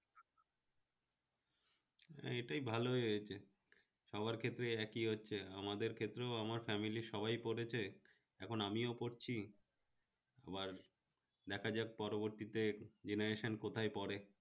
না এইটাই ভালো হয়েগেছে, সবার ক্ষেত্রে একই অর্থে আমার ক্ষেত্রেও আমার family এর সবাই পড়েছে এখন আমিও পড়ছি, আবার দেখাযাক পরবর্তীতে generation কোথায় পড়ে